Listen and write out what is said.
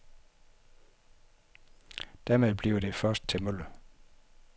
Dermed bliver det først til mølle.